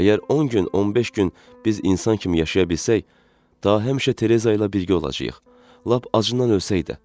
Əgər 10 gün, 15 gün biz insan kimi yaşaya bilsək, daha həmişə Tereza ilə birgə olacağıq, lap acından ölsə də.